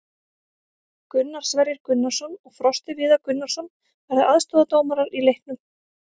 Gunnar Sverrir Gunnarsson og Frosti Viðar Gunnarsson verða aðstoðardómarar í leiknum.